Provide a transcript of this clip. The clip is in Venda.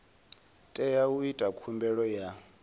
tea u ita khumbelo ya